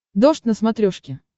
дождь на смотрешке